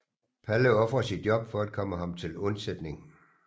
Palle ofrer sit job for at komme ham til undsætning